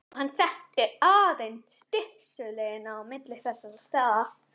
Og hann þekkti aðeins stystu leiðina á milli þessara staða.